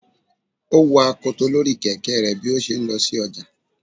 o wo akotò Lori Kẹkẹ rẹ bi o ṣe n lo sí ojá